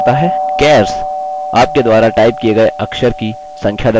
chars –आपके द्वारा type किए गए अक्षरों की संख्या दर्शाता है